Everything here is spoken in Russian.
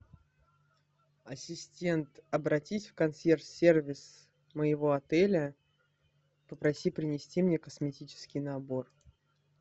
ассистент обратись в консьерж сервис моего отеля попроси принести мне косметический набор